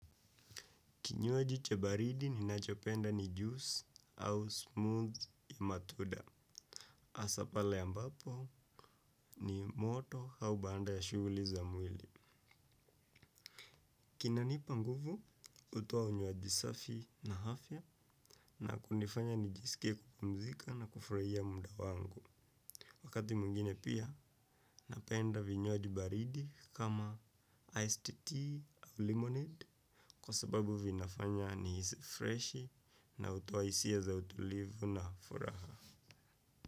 Kinyuaji cha baridi ninachopenda ni juice au smooth ya matunda. Hasa pale ambapo ni moto au baada ya shuguli za mwili. Kinanipa nguvu, utoa unywaji safi na afya na kunifanya nijisikie kupumzika na kufurahia muda wangu. Wakati mwngine pia, napenda vinywaji baridi kama iced tea au lemonade. Kwa sababu vinafanya nihisi freshi na utoa hisia za utulivu na furaha.